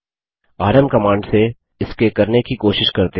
RM command से इसके करने की कोशिश करते हैं